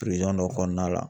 dɔ kɔnɔna la